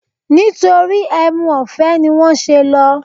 Nítorí ẹmu ọ̀fẹ́ ni wọ́n ṣe lọ